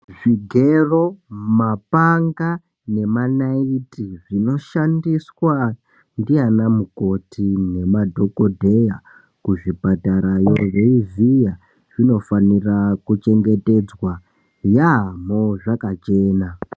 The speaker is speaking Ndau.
Zvigero, mapanga nemanaiti zvinoshandiswa ndiana mukoti nemadhogodheya kuzvipatarayo veivhiya. Zvinofanira kuchengetedzwa yaamho zvakachena.